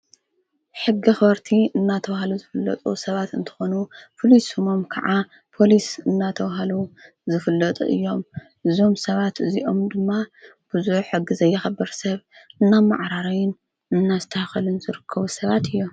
ሕጊ ኸወርቲ እናተውሃሉ ዝፍለጡ ሰባት እንተኾኑ ፍሊሱሞም ከዓ ጶሊስ እናተዉሃሉ ዝፍለጡ እዮም ዙም ሰባት እዚኦም ድማ ብዙዕ ሕጊ ዘይኸበር ሰብ እና መዕራረይን እናስተኸልን ዘርከዉ ሰባት እዮም።